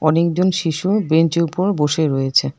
অনেকজন শিশু বেঞ্চের উপর বসে রয়েছে।